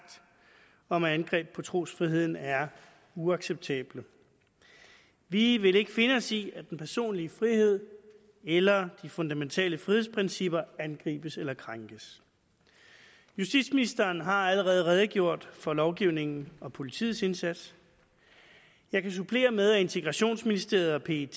om at angreb på trosfriheden er uacceptable vi vil ikke finde os i at den personlige frihed eller de fundamentale frihedsprincipper angribes eller krænkes justitsministeren har allerede redegjort for lovgivningen og politiets indsats jeg kan supplere med at integrationsministeriet og